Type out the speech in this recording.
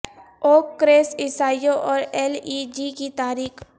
اوک کریس عیسائیوں اور ایل ای جی کی تاریخ